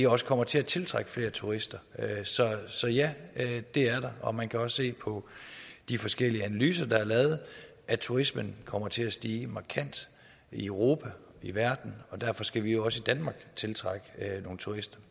også kommer til at tiltrække flere turister så ja det er der og man kan også se på de forskellige analyser der er lavet at turismen kommer til at stige markant i europa i verden og derfor skal vi jo også i danmark tiltrække nogle turister